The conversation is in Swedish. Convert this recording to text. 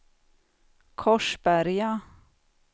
Korsberga